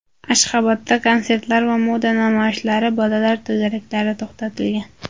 Ashxobodda konsertlar va moda namoyishlari, bolalar to‘garaklari to‘xtatilgan.